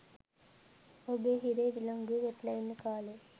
ඔබ හිරේ විලංගුවේ වැටිලා ඉන්න කා‍ලේ